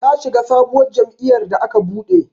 Ta shiga sabuwar jam'iyar da aka buɗe